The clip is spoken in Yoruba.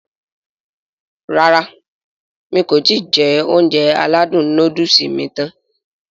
Rárá mi kò ti jẹ Ounjẹ aládùn nóódùsì mi tán